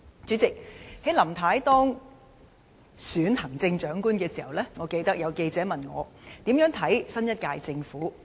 主席，在林太當選行政長官時，我記得有記者問我對新一屆政府的看法。